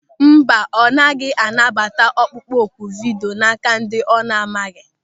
Mba, ọ gaghị anabata ọkpụkpọ oku vidio n'áká ndị ọ na-amaghị.